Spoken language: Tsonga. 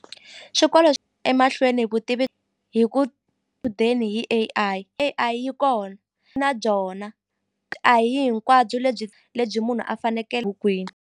Xikolo emahlweni vutivi hi ku hi A_I, A_I yi kona na byona a hi hinkwabyo lebyi lebyi munhu a bukwini.